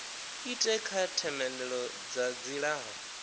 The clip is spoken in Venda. ite kha themendelo dza dzilafho